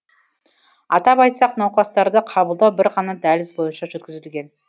атап айтсақ науқастарды қабылдау бір ғана дәліз бойынша жүргізілген